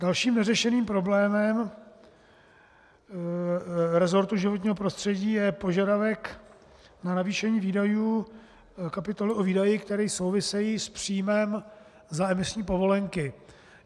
Dalším neřešeným problémem resortu životního prostředí je požadavek na navýšení výdajů kapitoly o výdaje, které souvisejí s příjmem za emisní povolenky.